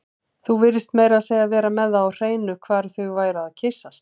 Þú virtist meira að segja vera með það á hreinu hvar þau væru að kyssast